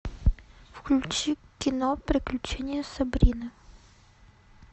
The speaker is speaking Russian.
включи кино приключения сабрины